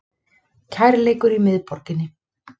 Kærleikur í miðborginni